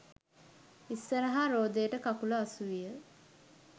ඉස්සරහා රෝදයට කකුල අසුවිය.